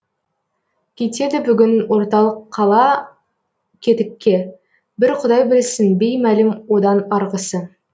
кетеді бүгін орталық қала кетікке бір құдай білсін беймәлім одан арғысы